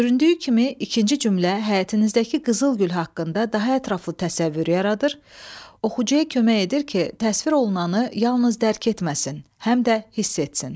Göründüyü kimi ikinci cümlə həyətinizdəki qızıl gül haqqında daha ətraflı təsəvvür yaradır, oxucuya kömək edir ki, təsvir olunanı yalnız dərk etməsin, həm də hiss etsin.